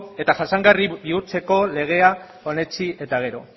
eta jasangarri bihurtzeko lega onetsi eta gero